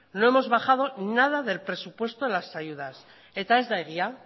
no hemos bajado nada del presupuesto las ayudas eta ez da egia